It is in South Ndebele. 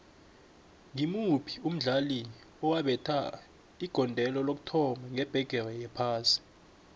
ngimuphi umdlali owabetha igondelo lokuthoma ngebhigiri yephasi